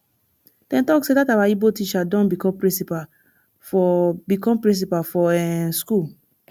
dem talk sey dat our ibo teacher don become principal for become principal for um school